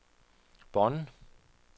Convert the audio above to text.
Bonn